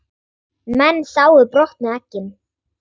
Menn sáu brotnu eggin.